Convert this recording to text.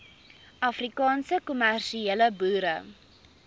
afrikaanse kommersiële boere